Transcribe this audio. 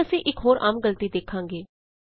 ਹੁਣ ਅਸੀਂ ਇਕ ਹੋਰ ਆਮ ਗਲਤੀ ਦੇਖਾਗੇ